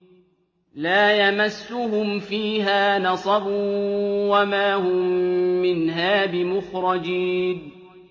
لَا يَمَسُّهُمْ فِيهَا نَصَبٌ وَمَا هُم مِّنْهَا بِمُخْرَجِينَ